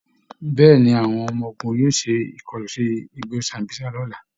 Bẹ́ẹ̀ ni, àwọn ọmọ ogun yóò ṣe ìkọlu sí igbó Sambísa lọ́la